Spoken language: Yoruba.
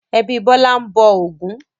Ẹbí Bọ́lá ń bọ Ògún.